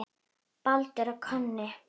Baldur og Konni